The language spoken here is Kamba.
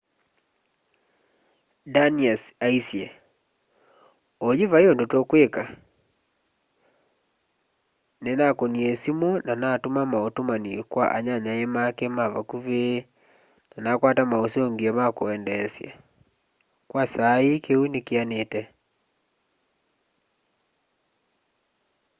danius aaĩsye oyu vaĩ ũndũ twĩkwĩka nĩnakũnĩa siumu na natũma maũtũmanĩ kwa anyanyae make mavakũvĩ na nakwata maũsũngĩo ma kwendeesya kwa saa ĩĩ kĩũ nĩ kĩanĩte